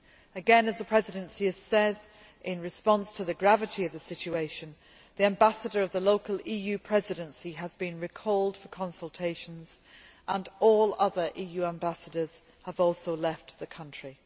Again, as the Presidency has said, in response to the gravity of the situation the local ambassador of the EU Presidency has been recalled for consultations and all other EU ambassadors have also left the country.